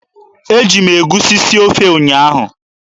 Eji m egusi sie ofe ụnyaahụ.